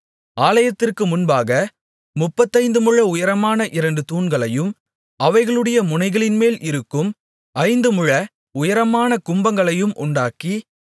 ஆலயத்திற்கு முன்பாக முப்பத்தைந்துமுழ உயரமான இரண்டு தூண்களையும் அவைகளுடைய முனைகளின்மேல் இருக்கும் ஐந்துமுழ உயரமான கும்பங்களையும் உண்டாக்கி